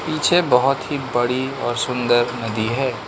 पीछे बहोत ही बड़ी और सुंदर नदी हैं।